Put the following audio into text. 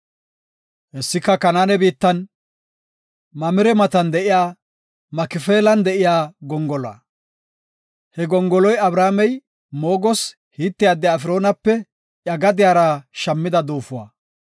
Hessika, Kanaane biittan, Maammire matan de7iya, Makifeelan de7iya gongoluwa. He gongoloy Abrahaamey moogoos Hite addiya Efroonape iya gadiyara shammida duufuwa.